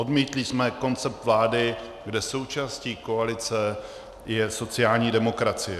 Odmítli jsme koncept vlády, kde součástí koalice je sociální demokracie.